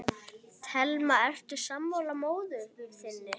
Telma: Ertu sammála móður þinni?